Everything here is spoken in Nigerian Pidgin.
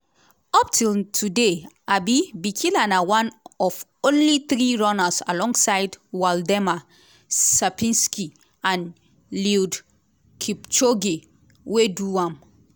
up till today um bikila na one of only three runners alongside waldemar cierpinski and eliud kipchoge wey do am.